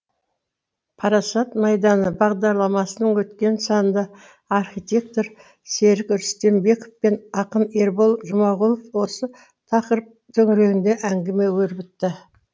парасат майданы бағдарламасының өткен санында архитектор серік рүстембеков пен ақын ербол жұмағұлов осы тақырып төңірегінде әңгіме өрбітті